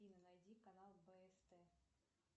афина найди канал бст